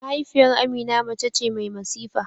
Mahaifiyar Amina mace ce mai masifa.